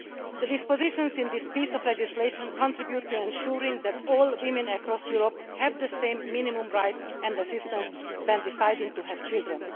The provisions in this piece of legislation contribute to ensuring that all women across Europe have the same minimum rights and assistance when deciding to have children.